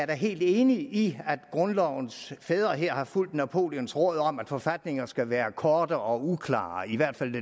da helt enig i at grundlovens fædre her har fulgt napoleons råd om at forfatninger skal være korte og uklare i hvert fald